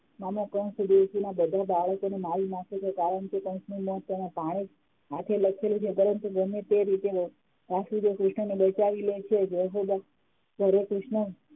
મામા કંસ દેવકી ના બધા બાળકોને મારી નાખે છે કારણ કે કંસનું મોત તેના ભાણેજ હાથે લખેલુ છે પરંતુ ગમે તે રીતે વાસુદેવ કૃષ્ણ ને બચાવી લે છે જશોદા ઘરે કૃષ્ણ